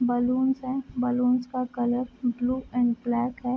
Balloons है balloons का colour blue and black है।